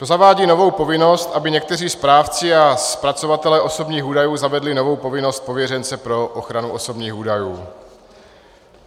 To zavádí novou povinnost, aby někteří správci a zpracovatelé osobních údajů zavedli novou povinnost pověřence pro ochranu osobních údajů.